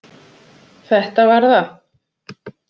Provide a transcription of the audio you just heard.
Þetta var það.